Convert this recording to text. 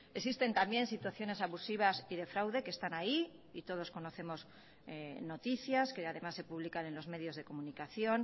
existen también situaciones abusivas y de fraude que están ahí y todos conocemos noticias que además se publican en los medios de comunicación